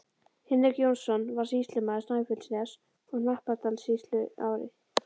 Hinrik Jónsson varð sýslumaður Snæfellsness- og Hnappadalssýslu árið